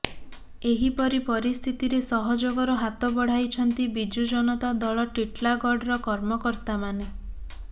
ଏହିପରି ପରିସ୍ଥିତିରେ ସହଯୋଗ ର ହାତ ବଢାଇଛନ୍ତି ବିଜୁ ଜନତା ଦଳ ଟିଟିଲାଗଡ ର କର୍ମକର୍ତ୍ତା ମାନେ